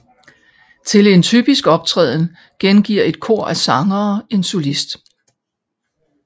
Til en typisk optræden gengiver et kor af sangere en solist